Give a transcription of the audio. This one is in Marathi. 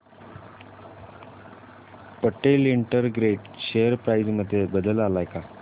पटेल इंटरग्रेट शेअर प्राइस मध्ये बदल आलाय का